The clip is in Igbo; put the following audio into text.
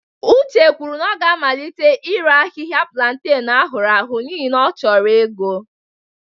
Uche kwuru na ọ ga-amalite ire ahịhịa planten ahụrụ ahụ n'ihi na ọ chọrọ ego